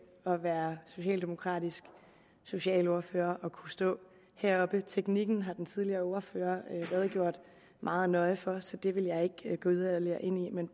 at være socialdemokratisk socialordfører og kunne stå heroppe teknikken har den tidligere ordfører redegjort meget nøje for så det vil jeg ikke gå yderligere ind i men